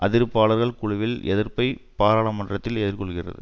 அதிருப்தியாளர் குழுவின் எதிர்ப்பை பாராளுமன்றத்தில் எதிர்கொள்கிறது